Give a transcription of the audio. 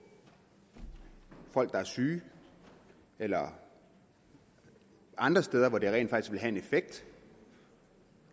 folk der er syge eller andre steder hvor det rent faktisk en effekt